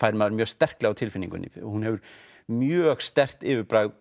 fær maður mjög sterklega á tilfinninguna hún hefur mjög sterkt yfirbragð